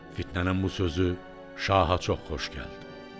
Fitnənin bu sözü şaha çox xoş gəldi.